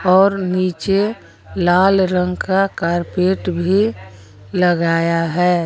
और नीचे लाल रंग का कारपेट भी लगाया है।